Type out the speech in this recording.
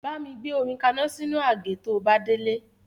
Bámi gbé omi kaná sínú àgé to bá délé